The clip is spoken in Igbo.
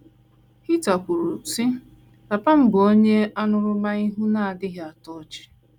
Heather kwuru, sị:Papa m bụ onye aṅụrụma ihu na - adịghị atọ ọchị.